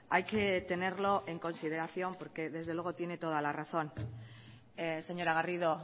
hay que tenerlo en consideración porque desde luego tiene toda la razón señora garrido